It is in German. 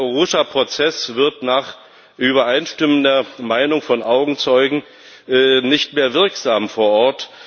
Der Arusha Prozess wird nach übereinstimmender Meinung von Augenzeugen nicht mehr wirksam vor Ort.